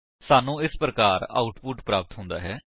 ਸਾਨੂੰ ਇਸ ਪ੍ਰਕਾਰ ਆਉਟਪੁਟ ਪ੍ਰਾਪਤ ਹੁੰਦਾ ਹੈ